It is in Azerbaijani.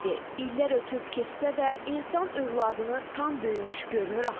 İllər ötüb keçsə də, insan övladını tam böyümüş görmür axı.